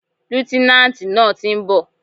Líútínántì náà ti nbò